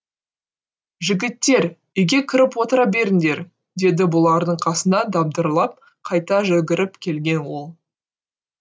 жігіттер үйге кіріп отыра беріңдер деді бұлардың қасына дабдырлап қайта жүгіріп келген ол